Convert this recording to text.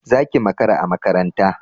Zaki makara a makaranta